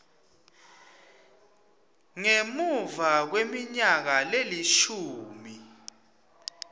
ngemuva kweminyaka lelishumi